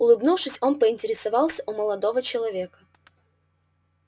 улыбнувшись он поинтересовался у молодого человека